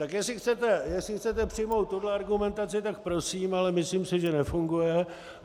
Tak jestli chcete přijmout tuhle argumentaci, tak prosím, ale myslím si, že nefunguje.